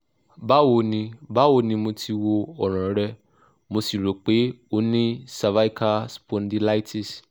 bawo ni bawo ni mo ti wo oran re mo si ro pe o ni cervical spondylitis